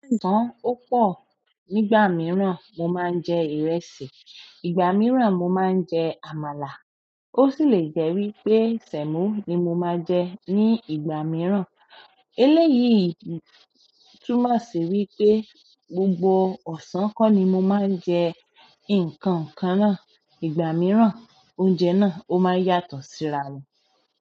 Ní ọ̀sán ó pọ̀, nígbà mìíràn mo máa ń jẹ ìrẹsì, ìgbà mìíràn mo máa ń jẹ àmàlà, ó sì lè jẹ́ wí pé sẹ̀mo ni mo máa jẹ ní ìgbà mìíràn. Eléyìí túmọ̀ sí wí pé gbogbo ọ̀sán kọ́ ni mo máa ń jẹ nǹkan kan náà, ìgbà mìíràn oúnjẹ náà ó máa yàtọ̀ síra rẹ̀.